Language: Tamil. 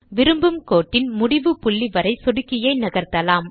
விரும்பும் கோட்டின் முடிவு புள்ளிவரை சொடுக்கியை நகர்த்தலாம்